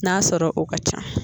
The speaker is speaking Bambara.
N'a sɔrɔ o ka ca.